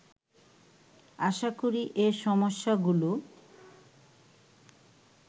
আশা করি এ সমস্যাগুলো